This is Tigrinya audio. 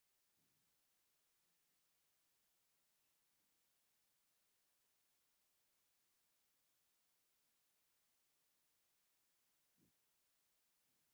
መርዑት ባህላዊ ክዳን ተከዲኖም ፍሽክ ይብሉ ኣለዉ እታ መርዓት ወርቂ ኣብ ክሳዳን ኢዳን ኣለዋ ። ዋጋ ንይቲ ክዳን ክንደይ እዪ ?